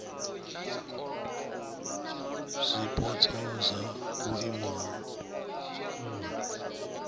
zwipotso zwa vhuimo ha nha